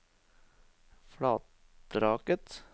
Flatraket